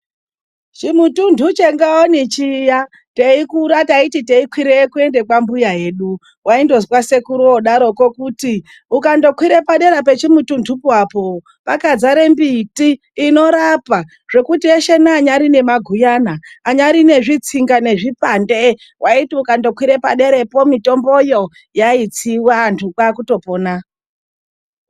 Chimutundhu cheNgaoni chiya, teikura taiti teikwireyo kuende kwambuya edu, waindozwa sekuru oodaroko kuti ukandokwire padera pechimutundhu po apo, pakadzare mbiti inorapa. Zvekuti eshe neanyari nemaguyana; anyari nezvitsinga; nezvipande, waiti ukandokwira paderapo, mitomboyo yaitsiwa vandhu kwaa kutopona.